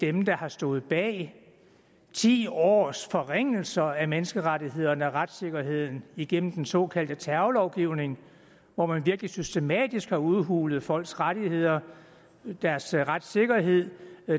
er dem der har stået bag ti års forringelser af menneskerettighederne og retssikkerheden igennem den såkaldte terrorlovgivning hvor man virkelig systematisk har udhulet folks rettigheder deres retssikkerhed